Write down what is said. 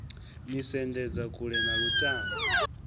ni sendedza kule na lutamo